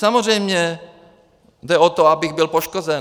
Samozřejmě jde o to, abych byl poškozen.